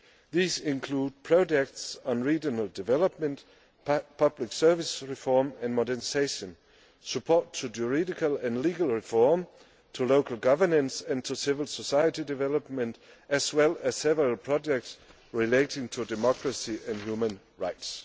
These include projects on regional development, public service reform and modernisation, support for judicial and legal reform, for local governance and for civil society development, as well as several projects relating to democracy and human rights.